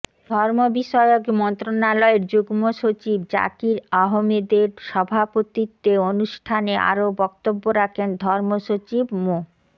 ধর্ম বিষয়ক মন্ত্রণালয়ের যুগ্মসচিব জাকির আহমেদের সভাপতিত্বে অনুষ্ঠানে আরো বক্তব্য রাখেন ধর্ম সচিব মো